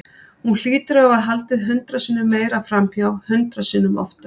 Hún hlýtur að hafa haldið hundrað sinnum meira framhjá, hundrað sinnum oftar.